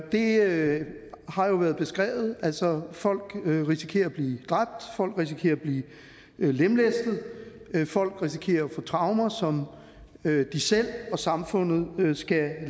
det har jo været beskrevet altså folk risikerer at blive dræbt folk risikerer at blive lemlæstet folk risikerer at få traumer som de selv og samfundet skal